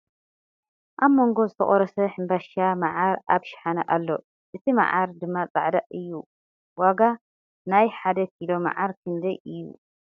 ኣብ መንጎ ዝተቆረሰ ሕምባሻ መዓር ኣብ ሽሓነ ኣሎ ። እት መዓር ድማ ፃዕዳ ኣዩ ። ዋጋ ናይ ሓደ ኪሎ መዓር ክንደይ እዩ ?